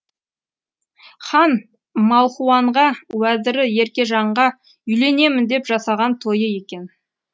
хан малхуанға уәзірі еркежанға үйленемін деп жасаған тойы екен